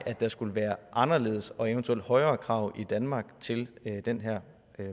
at der skulle være anderledes og eventuelt højere krav i danmark til den her